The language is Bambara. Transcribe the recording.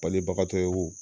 Palibagatɔ ye wo